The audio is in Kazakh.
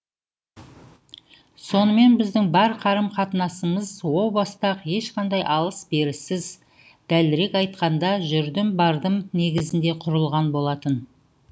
сонымен біздің бар қарым қатынасымыз о баста ақ ешқандай алыс беріссіз дәлірек айтқанда жүрдім бардым негізінде құрылған болатын